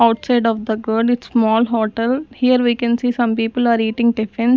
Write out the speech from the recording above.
outside of the girl it's small hotel here we can see some people are eating tiffin.